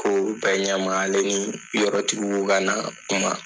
Kow bɛ ɲɛma ale ni yɔrɔ tigi bu kana kuma.